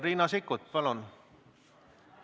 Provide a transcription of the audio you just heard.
Riina Sikkut, palun!